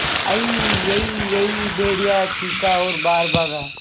अईयईयई भेड़िया चीखा और बाहर भागा